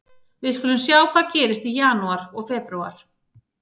Við skulum sjá hvað gerist í janúar og febrúar.